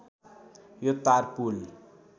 यो तार पुल